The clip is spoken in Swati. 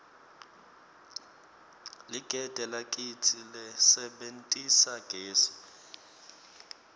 ligede lakitsi lisebentisa gesi